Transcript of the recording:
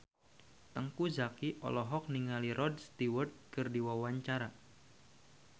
Teuku Zacky olohok ningali Rod Stewart keur diwawancara